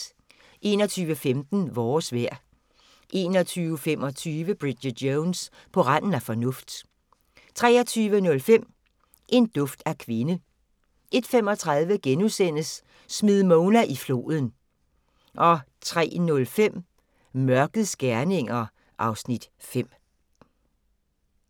21:15: Vores vejr 21:25: Bridget Jones: På randen af fornuft 23:05: En duft af kvinde 01:35: Smid Mona i floden * 03:05: Mørkets gerninger (Afs. 5)